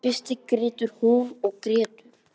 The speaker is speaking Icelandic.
Í fyrstu grætur hún og grætur.